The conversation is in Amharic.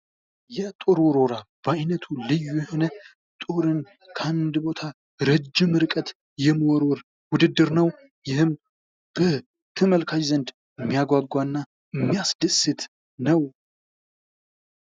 የጦር ውርወራ ፦ በአይነቱ ልዩ የሆነ ጦርን ከአንድ ቦታ እረጅም ርቀት የመወርወር ውድድር ነው ። ይህም በተመልካች ዘንድ የሚያጓጓ እና የሚያስደስት ነው ።